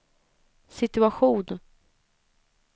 situation